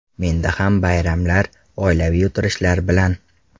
Menda ham bayramlar, oilaviy o‘tirishlar bilan.